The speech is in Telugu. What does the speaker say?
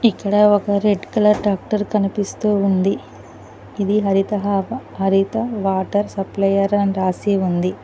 ఇక్కడ ఒక రెడ్ కలర్ టాక్టర్ కనిపిస్తూ ఉంది ఇది హరితహా హరిత వాటర్ సప్లైయర్ అని రాసి ఉంది.